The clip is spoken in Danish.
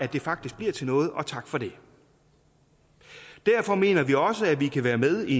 det faktisk bliver til noget og tak for det derfor mener vi også at vi kan være med i